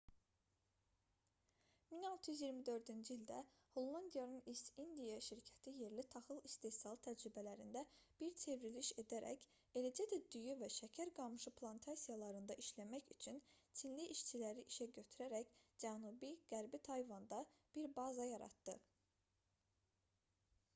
1624-cü ildə hollandiyanın east india şirkəti yerli taxıl istehsalı təcrübələrində bir çevriliş edərək eləcə də düyü və şəkər qamışı plantasiyalarında işləmək üçün çinli işçiləri işə götürərək cənubi-qərbi tayvanda bir baza yaratdı